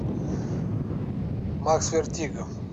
сбер макс вертиго